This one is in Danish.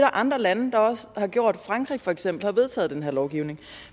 andre lande der også har gjort frankrig har for eksempel vedtaget den her lovgivning